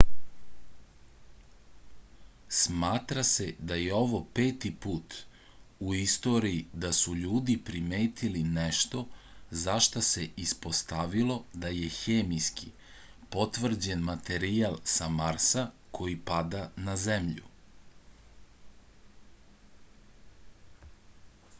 smatra se da je ovo peti put u istoriji da su ljudi primetili nešto za šta se ispostavilo da je hemijski potvrđen materijal sa marsa koji pada na zemlju